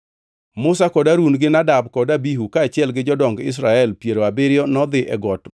Musa kod Harun gi Nadab kod Abihu kaachiel gi jodong Israel piero abiriyo nodhi e got